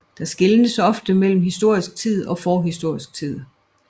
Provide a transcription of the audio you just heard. Der skelnes ofte mellem historisk tid og forhistorisk tid